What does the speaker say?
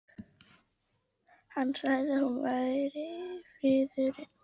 Hann sagði að nú væri friðurinn úti.